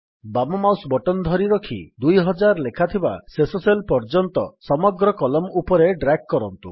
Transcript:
ବାମ mouse button ଧରିରଖି ୨୦୦୦ ଲେଖାଥିବା ଶେଷ ସେଲ୍ ପର୍ଯ୍ୟନ୍ତ ସମଗ୍ର କଲମ୍ ଉପରେ ଡ୍ରାଗ୍ କରନ୍ତୁ